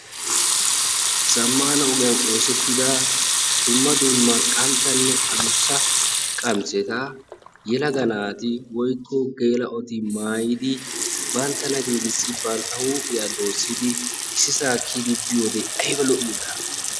Zamaana ogiyan oosettida dumma dumma qanttanne addussa qamiseta yelaga naati woyikko geela"oti maayidi banttana giigissi bantta huuphiya doossidi issisaa kiyidi biyode ayiba lo"iyoonaa!